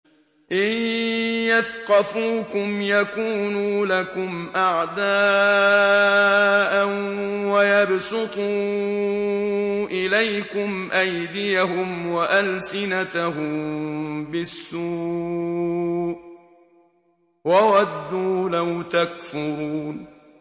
إِن يَثْقَفُوكُمْ يَكُونُوا لَكُمْ أَعْدَاءً وَيَبْسُطُوا إِلَيْكُمْ أَيْدِيَهُمْ وَأَلْسِنَتَهُم بِالسُّوءِ وَوَدُّوا لَوْ تَكْفُرُونَ